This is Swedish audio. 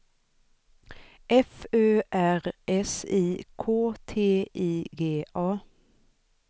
F Ö R S I K T I G A